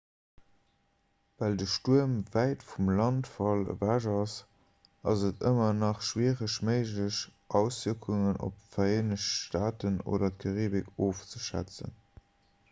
well de stuerm wäit vum landfall ewech ass ass et ëmmer nach schwiereg méiglech auswierkungen op d'vereenegt staaten oder d'karibik ofzeschätzen